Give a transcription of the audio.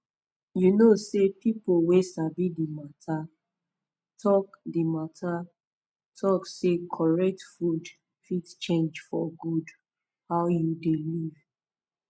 you know say pipo wey sabi the matta talk the matta talk say correct food fit change for good how you dey live